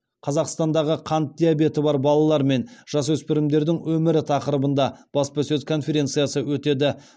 қазақстандағы қант диабеті бар балалар мен жасөспірімдердің өмірі тақырыбында баспасөз конференциясы өтеді